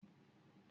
Ṣé obìnrin náà ga?